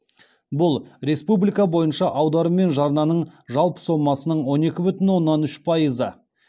бұл республика бойынша аударым мен жарнаның жалпы сомасының он екі бүтін оннан үш пайызы